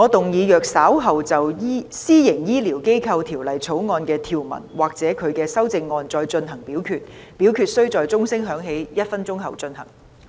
主席，我動議若稍後就《私營醫療機構條例草案》的條文或其修正案再進行點名表決，表決須在鐘聲響起1分鐘後進行。